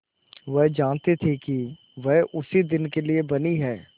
वह जानती थी कि वह इसी दिन के लिए बनी है